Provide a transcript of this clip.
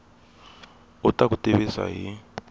u ta ku tivisa hi